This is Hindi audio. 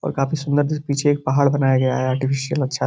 और काफी सुंदर दिस पीछे एक पाहाड़ बनाया गया है। आर्टिफ़िसीयल अच्छा --